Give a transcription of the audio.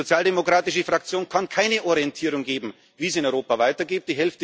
Die sozialdemokratische Fraktion kann keine Orientierung geben, wie es in Europa weitergeht.